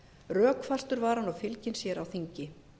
rökfastur var hann og fylginn sér á þingi